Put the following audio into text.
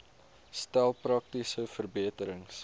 stel praktiese verbeterings